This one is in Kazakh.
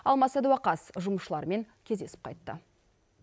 алмас сәдуақас жұмысшылармен кездесіп қайтты